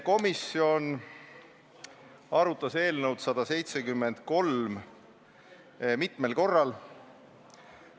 Komisjon arutas eelnõu 173 mitmel korral.